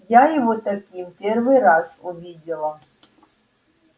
я его таким первый раз увидела